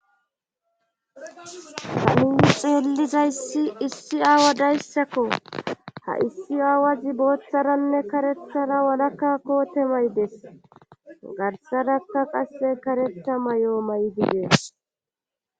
Hamini xeellizayssi issi aawa dayssakko ha issi aawazi booththaranne karethara walakkakkote maydes garsadakka qasse karetha may'o maydigee.